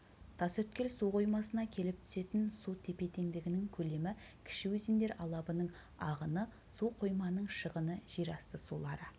тасөткел су қоймасына келіп түсетін су тепе-теңдігінің көлемі кіші өзендер алабының ағыны су қойманың шығыны жер асты сулары